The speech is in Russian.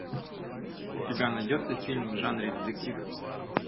у тебя найдется фильм в жанре детектив